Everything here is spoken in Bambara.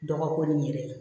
Dɔgɔkun yɛrɛ ye